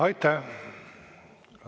Aitäh!